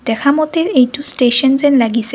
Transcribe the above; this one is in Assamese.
দেখামতে এইটো ষ্টেচন যেন লাগিছে।